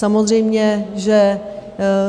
Samozřejmě že